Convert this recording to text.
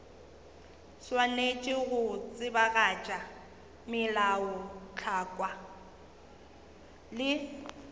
swanetše go tsebagatša melaotlhakwa le